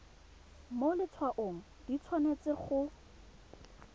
mo letshwaong di tshwanetse go